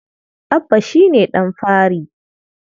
Abba shi ne ɗan fari.